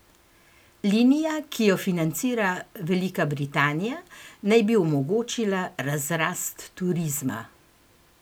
Linija, ki jo financira Velika Britanija, naj bi omogočila razrast turizma.